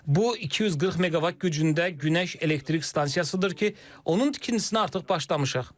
Bu 240 meqavat gücündə günəş elektrik stansiyasıdır ki, onun tikintisinə artıq başlamışıq.